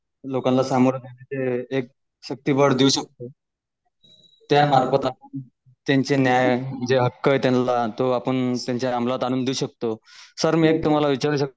लोकांना एक सुटी बोर्ड देऊ शकतो त्या मार्फत आपण त्यांचे न्याय जे हक्क त्यांना तो आपण त्यांच्या अमलात आणून देऊ शकतो सर मी तुम्हाला विचारू शकतो?